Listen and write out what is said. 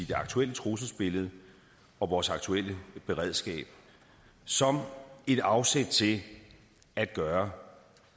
det aktuelle trusselsbillede og vores aktuelle beredskab som et afsæt til at gøre